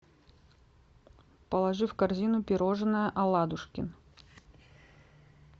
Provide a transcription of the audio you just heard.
положи в корзину пирожное аладушкин